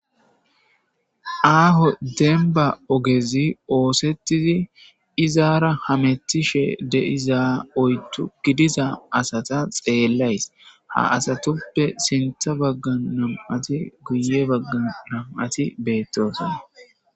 aaho denba ogezi oosettizi izaara hamettishe deiza oytu gidiza asata xeellays ha asatoppe sintha bagga nam7ati guye bagga nam7ati beettosana